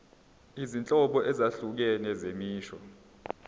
izinhlobo ezahlukene zemisho